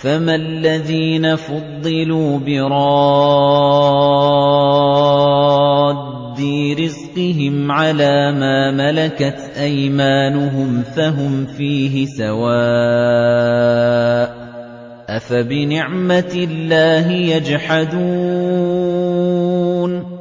فَمَا الَّذِينَ فُضِّلُوا بِرَادِّي رِزْقِهِمْ عَلَىٰ مَا مَلَكَتْ أَيْمَانُهُمْ فَهُمْ فِيهِ سَوَاءٌ ۚ أَفَبِنِعْمَةِ اللَّهِ يَجْحَدُونَ